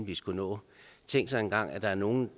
vi skulle nå tænk sig engang at der er nogle